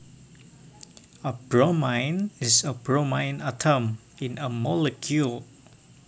A bromine is a bromine atom in a molecule